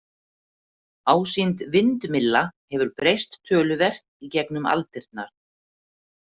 Ásýnd vindmylla hefur breyst töluvert í gegnum aldirnar.